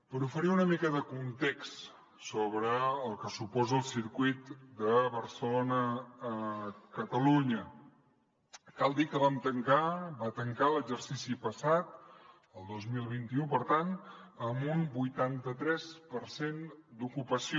per oferir una mica de context sobre el que suposa el circuit de barcelona a catalunya cal dir que va tancar l’exercici passat el dos mil vint u per tant amb un vuitanta tres per cent d’ocupació